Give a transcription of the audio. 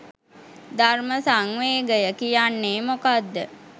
"ධර්ම සංවේගය" කියන්නේ මොකක්ද?